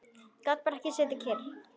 Gat bara ekki setið kyrr.